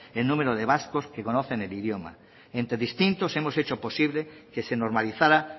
el número de vascos que conocen el idioma entre distintos hemos hecho posible que se normalizara